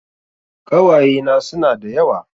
Ƙawayena suna da yawa